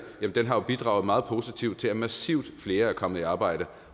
den har bidraget meget positivt til at massivt flere er kommet i arbejde